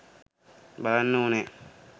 බලන්න ඕනේ